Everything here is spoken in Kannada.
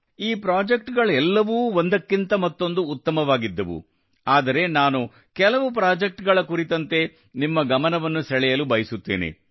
ಈ ಪ್ರಾಜೆಕ್ಟ್ ಗಳೆಲ್ಲವೂ ಒಂದಕ್ಕಿಂತ ಮತ್ತೊಂದು ಉತ್ತಮವಾಗಿದ್ದವು ಆದರೆ ನಾನು ಕೆಲವು ಪ್ರಾಜೆಕ್ಟ್ ಗಳ ಕುರಿತಂತೆ ನಿಮ್ಮ ಗಮನವನ್ನು ಸೆಳೆಯಲು ಬಯಸುತ್ತೇನೆ